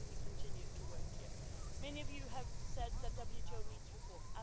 But we will continue to work here. Many of you have said the WTO needs reform.